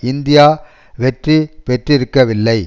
India வெற்றி பெற்றிருக்கவில்லை